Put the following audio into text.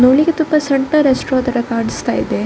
ನೋಡ್ಲಿಕ್ಕೆ ತುಂಬಾ ಸಣ್ಣ ತರ ರೆಸ್ಟೋರೆಂಟ್ ತರ ಕಾಣಿಸ್ತಾ ಇದೆ.